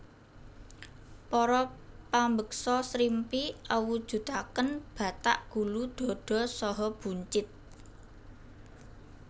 Para pambeksa srimpi awujudaken batak gulu dhada saha buncit